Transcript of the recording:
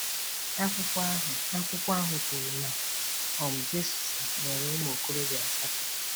Akwụkwọ ahụ Akwụkwọ ahụ kwuru na um Jesse “nwere ụmụ okorobịa asatọ.”